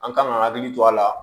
An kan ka hakili to a la